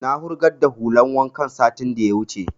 Na wurgar da hulan wankan satin da ya wuce